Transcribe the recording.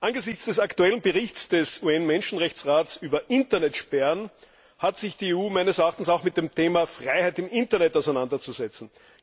Angesichts des aktuellen Berichts des UN Menschenrechtsrates über Internetsperren hat sich die EU auch mit dem Thema Freiheit im Internet auseinanderzusetzen.